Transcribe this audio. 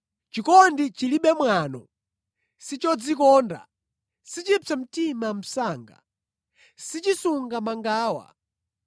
Chikondi chilibe mwano, sichodzikonda, sichipsa mtima msanga, sichisunga mangawa.